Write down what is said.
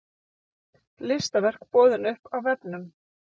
Listaverk boðin upp á vefnum